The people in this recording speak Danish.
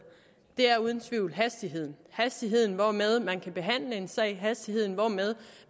er uden tvivl hastigheden hastigheden hvormed man kan behandle en sag hastigheden hvormed